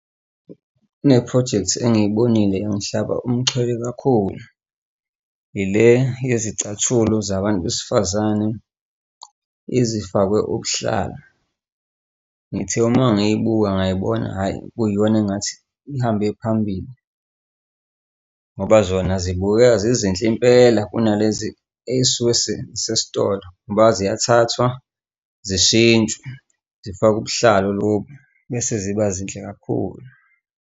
Kune-project engiyibonile engihlaba umxhwele kakhulu ile yezicathulo zabantu besifazane ezifakwe ubuhlalo. Ngithe uma ngiyibuka ngay'bona, hhayi, kuyiyona engathi ihambe phambili. Ngoba zona zibukeka zizinhle impela kunalezi ey'suke sezisesitolo ngoba ziyathathwa zishintshwe zifakwe ubuhlalu lobu bese ziba zinhle kakhulu.